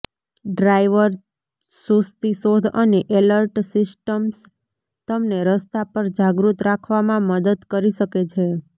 driver સુસ્તી શોધ અને એલર્ટ સિસ્ટમ્સ તમને રસ્તા પર જાગૃત રાખવામાં મદદ કરી શકે છે